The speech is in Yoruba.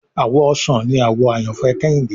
Àwọ̀ ọsàn ní àwò àyànfẹ Kehinde